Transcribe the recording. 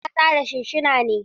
Hanci na numfasa da sunsuna ne.